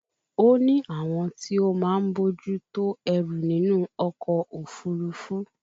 O ní àwọn tí ó máa ń bójú tó ẹrù nínú ọkọ̀ òfúrufú